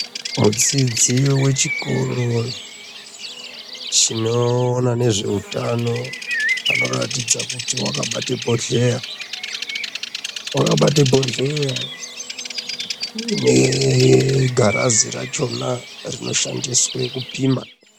Mudzidzi wechikoronchinoona nezvehutano anoratidza kuti akabata bhohleya akabata bhohleya unebgiraso rakona kushandiswa kupima